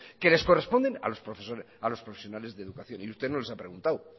que les corresponden a los profesionales de educación y usted no les ha preguntado